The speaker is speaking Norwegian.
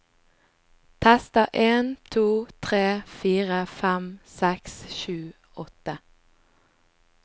Tester en to tre fire fem seks sju åtte